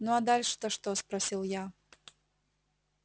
ну а дальше то что спросил я